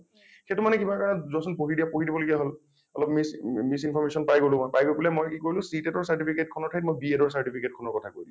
সেইটো মানে কিবা কাৰণত যোৱা চোন পঢ়ি দিয়া । পঢ়ি দিব লগীয়া হল । অলপ miss মি misinformation পাই গলোঁ মই । পাই গৈ পেলাই মই কি কৰিলোঁ CTET ৰ certificate খনৰ ঠাইত মই BED certificate খনৰ কথা কৈ দিলোঁ।